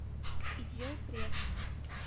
идел пресс